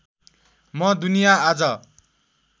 म दुनिया आज